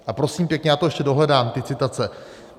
A prosím pěkně, já to ještě dohledám, ty citace.